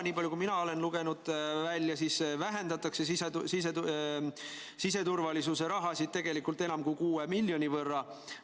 Nii palju kui mina olen välja lugenud, siis vähendatakse siseturvalisuse rahasid tegelikult enam kui 6 miljoni võrra.